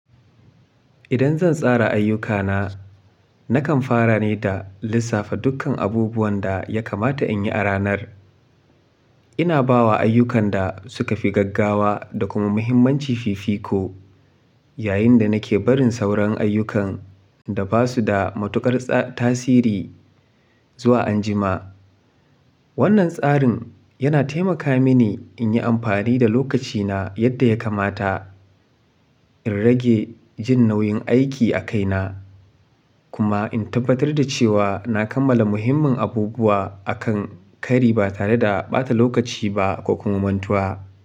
Idan zan tsara ayyukana, nakan fara ne da lissafa dukkan abubuwan da ya kamata in yi a ranar. Ina bawa ayyukan da suka fi gaggawa da kuma mahimmanci fifiko, yayin da nake barin sauran ayyukan da ba su da matuƙar tsa tasiri zuwa anjima. Wannan tsarin yana taimaka mini in yi amfani da lokacina yadda ya kamata, in rage jin nauyin aiki a kaina, kuma in tabbatar da cewa na kammala muhimmin abubuwa a kan kari ba tare da ɓata lokaci ba ko kuma mantuwa.